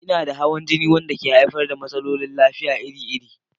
Ina da hawan jini wanda ke haifar da matsalolin lafiya iri-iri.